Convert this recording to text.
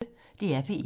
DR P1